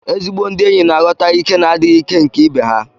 Ezi ndị enyi na-aghọta ìké na adịghị ìké nke ibe ha.